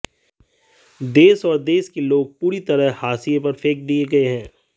देश और देश के लोग पूरी तरह हाशीए पर फैंक दिए गए हैं